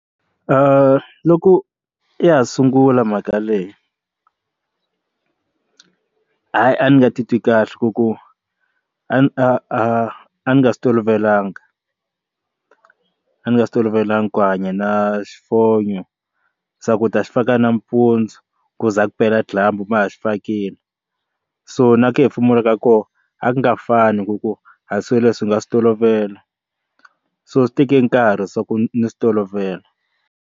loko ya ha sungula mhaka leyi hayi a ni nga titwi kahle ku ku a ni a a nga swi tolovelangi a ndzi nga swi tolovelangi ku hanya na xifonyo swaku u ta xi faka nampundzu ku za kupela dyambu ma ha xi fakile so na ku hefemula ka koho a ku nga fani ku ku hansi swilo leswi nga swi tolovela so swi teke nkarhi swa ku ni swi tolovela.